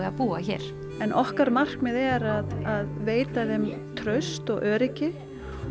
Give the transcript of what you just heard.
að búa hér okkar markmið er að veita þeim traust og öryggi